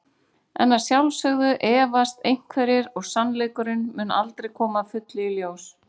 En að sjálfsögðu efast einhverjir og sannleikurinn mun aldrei koma að fullu í ljós.